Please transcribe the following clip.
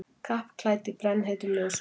Kappklædd í brennheitum ljósunum.